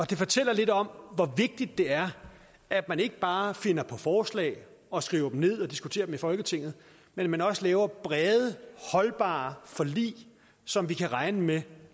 det fortæller lidt om hvor vigtigt det er at man ikke bare finder på forslag og skriver dem ned og diskuterer dem i folketinget men at man også laver brede holdbare forlig som vi kan regne med